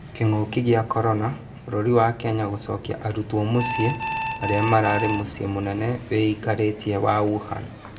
Kĩng'uki gĩa korona: bũrũri wa Kenya gũcokia arutwo mũcĩĩ arĩ mararĩ mũcĩĩ mũnene wĩikarĩtie wa Wuhan.